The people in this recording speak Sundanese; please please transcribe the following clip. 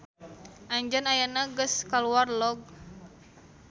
Anjeun ayeuna geus kaluar log.